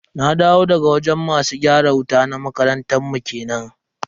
Na dawo daga wajen masu gyara wuta na makarantar mu kenan.